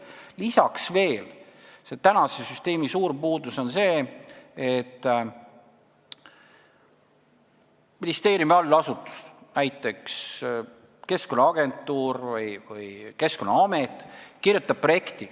Lisaks on tänase süsteemi suur puudus see, et ministeeriumi allasutus, näiteks Keskkonnaagentuur või Keskkonnaamet, kirjutab projekte.